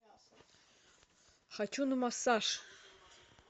хочу на массаж